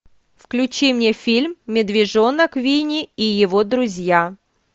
включи мне фильм медвежонок винни и его друзья